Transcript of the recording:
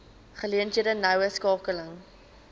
geleenthede noue skakeling